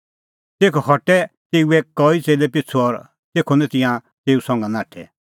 तेखअ हटै तेऊए कई च़ेल्लै पिछ़ू और तेखअ निं तिंयां तेऊ संघा नाठै